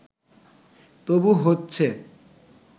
তবু হচ্ছে